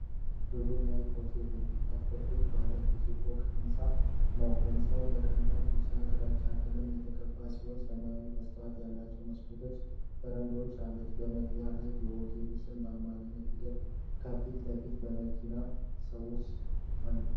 ብሉ ናይል ሆቴል የሚባል ትልቅ ባለ ብዙ ፎቅ ሕንፃ ነው። ሕንፃው በቀላል ቢጫና ግራጫ ቀለም የተቀባ ሲሆን፣ ሰማያዊ መስታወት ያላቸው መስኮቶችና በረንዳዎች አሉት። በመግቢያው ላይ የሆቴሉ ስም በአማርኛ ተጽፏል፣ ከፊት ለፊትም መኪናዎችና ሰዎች አሉ።